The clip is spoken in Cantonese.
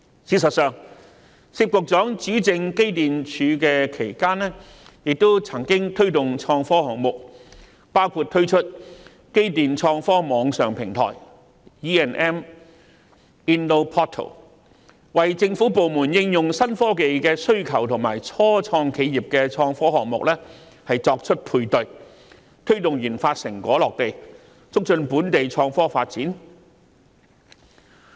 事實上，薛局長主政機電工程署期間亦曾推動創科項目，包括推出機電創科網上平台，為政府部門應用新科技的需求與初創企業的創科項目作配對，推動研發成果落地，促進本地創科發展。